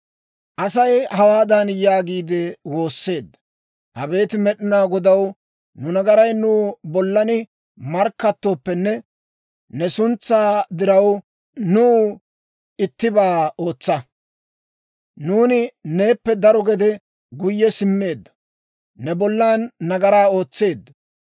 Asay hawaadan yaagiide woosseedda; «Abeet Med'inaa Godaw, nu nagaray nu bollan markkattooppenne, ne suntsaa diraw, nuw ittibaa ootsa. Nuuni neeppe daro gede guyye simmeeddo; ne bollan nagaraa ootseeddo.